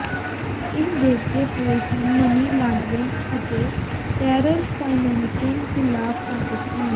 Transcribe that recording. ਇਹ ਦੇਖਦੇ ਹੋਏ ਕਿ ਮਨੀ ਲਾਡਰਿੰਗ ਅਤੇ ਟੈਰਰ ਫਾਇਨੈਂਸਿੰਗ ਖਿਲਾਫ਼ ਪਾਕਿਸਤਾਨ